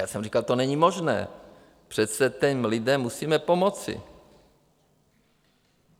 Já jsem říkal: to není možné, přece těm lidem musíme pomoci.